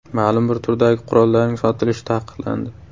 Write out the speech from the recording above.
Ma’lum bir turdagi qurollarning sotilishi taqiqlandi.